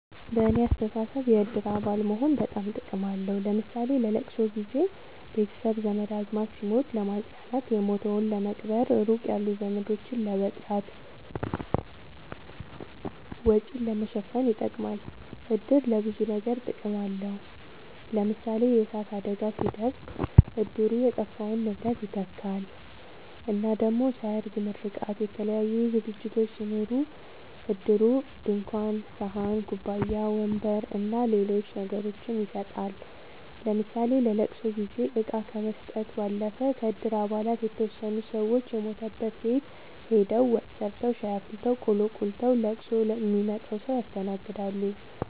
በኔ አስተሳሰብ የእድር አባል መሆን በጣም ጥቅም አለዉ ለምሳሌ ለለቅሶ ጊዘ ቤተሰብ ዘመድአዝማድ ሲሞት ለማጽናናት የሞተዉን ለመቅበር ሩቅ ያሉ ዘመዶችን ለመጥራት ወጪን ለመሸፈን ይጠቅማል። እድር ለብዙ ነገር ጥቅም አለዉ ለምሳሌ የእሳት አደጋ ሲደርስ እድሩ የጠፋውን ንብረት ይተካል እና ደሞ ሰርግ ምርቃት የተለያዩ ዝግጅቶች ሲኖሩ እድሩ ድንኳን ሰሀን ኩባያ ወንበር አና ሌሎች ነገሮችን ይሰጣል ለምሳሌ ለለቅሶ ጊዜ እቃ ከመስጠት ባለፈ ከእድር አባላት የተወሰኑት ሰወች የሞተበት ቤት ሆደው ወጥ ሰርተዉ ሻይ አፍልተው ቆሎ ቆልተዉ ለቅሶ ሚመጣዉን ሰዉ ያስተናግዳሉ።